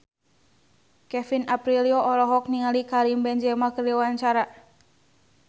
Kevin Aprilio olohok ningali Karim Benzema keur diwawancara